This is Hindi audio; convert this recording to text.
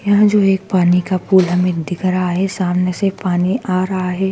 यह जो एक पानी का पूल हमे दिख रहा हैं सामने से पानी आ रहा है।